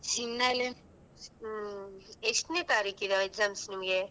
ಹ್ಮ್ ಎಷ್ಟ್ ನೇ ತಾರೀಕಿಗೆ exams ನಿಮಿಗೆ.